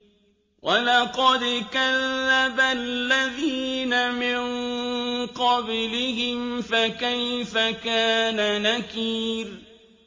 وَلَقَدْ كَذَّبَ الَّذِينَ مِن قَبْلِهِمْ فَكَيْفَ كَانَ نَكِيرِ